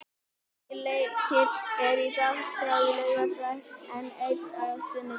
Níu leikir eru á dagskrá á laugardag, en einn á sunnudag.